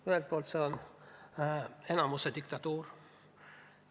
Ühelt poolt on see enamuse diktatuur.